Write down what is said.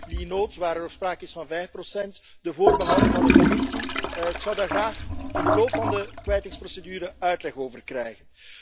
Die noot waarin sprake is van vijf procent, de voorbehouden van de Commissie ik zou daar graag in de loop van de kwijtingsprocedure uitleg over krijgen.